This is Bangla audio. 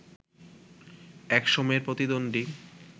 এক সময়ের প্রতিদ্বন্দ্বী